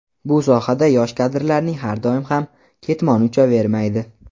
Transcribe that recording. bu sohada yosh kadrlarning har doim ham "ketmoni uchavermaydi".